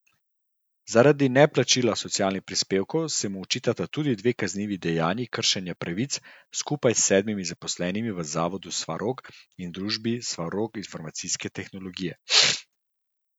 Zaradi neplačila socialnih prispevkov se mu očitata tudi dve kaznivi dejanji kršenja pravic skupaj sedmim zaposlenim v Zavodu Svarog in družbi Svarog informacijske tehnologije.